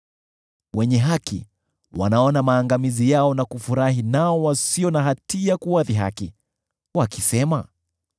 “Wenye haki wanaona maangamizi yao na kufurahi, nao wasio na hatia huwadhihaki, wakisema,